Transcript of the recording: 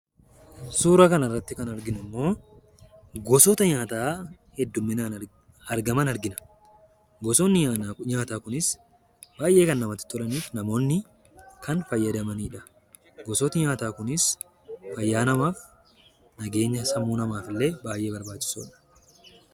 Suura kana irratti kan arginu immoo gosoota nyaataa heddumminaan argaman argina. Gosoonni nyaataa kunis baay'ee kan namatti tolanii fi namoonni fayyadamanidha. Gosoonni nyaataa kun fayyaa namaaf, nageenya sammuu namaaf illee baay'ee barbaachisoodha.